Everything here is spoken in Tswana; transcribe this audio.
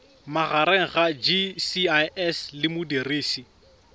magareng ga gcis le modirisi